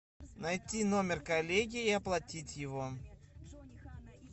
найти номер коллеги и оплатить его